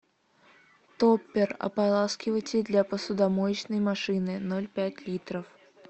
топпер ополаскиватель для посудомоечной машины ноль пять литров